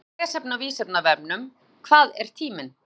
Frekara lesefni á Vísindavefnum: Hvað er tíminn?